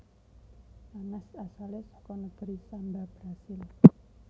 Nanas asalé saka negeri Samba Brasil